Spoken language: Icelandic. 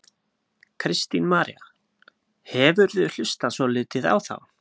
Kristín María: hefurðu hlustað svolítið á þá?